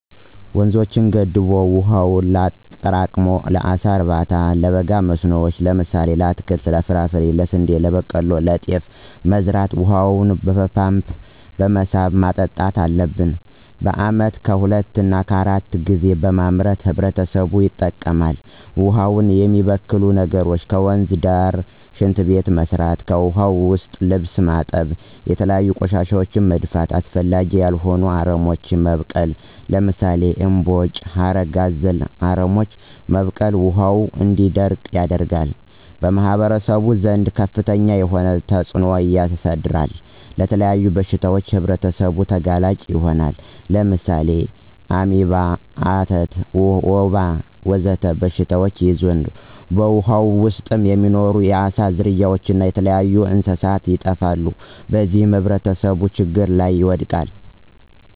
ወንዞችን ገድቦ ዉሀውን አጠራቅሞ ለአሳ እርባታ፣ ለበጋ መስኖዎች ለምሳሌ ለአትክልት እና ፍራፍሬ፣ ስንዴ፣ በቆሎ፣ ጤፍ በመዝራት በውሃ ፓምፕ በመሳብ ማጠጣት አለብን። በአመት ከሁለት እሰከ አራት ጊዜ በማምረት ህብረተሰቡ ይጠቀማል። ውሃውን የሚበክሉ ነገሮች ከወንዝ ዳር ሽንት ቤት መስራት። ከዉሀ ዉስጥ ልብስ ማጠብ፣ የተለያዩ ቆሻሻወችን መድፋት፣ አስፈላጊ ያልሆኑ አረሞች መብቀል ለምሳሌ እምቦጭ፣ ሀረግ አዘል አረሞች መብቀል ውሀው እንዲደርቅ ያደርጋል። በማህበረሰቡ ዘንድ ከፍተኛ የሆነ ተፅእኖ ያሳድራል። ለተለያዩ በሽታዎች ህብረተሰቡ ተጋላጭ ይሆናሉ። ለምሳሌ አሜባ፣ አተት፣ ወባ ወዘተ በሽታዎች ይያዛሉ። በውሃው ዉስጥ የሚኖሩ የአሳ ዝርያዎች እና የተለያዩ እንስሳት ይጠፋሉ። በዚህም ህብረተሰቡ ችግር ላይ ይወድቃል።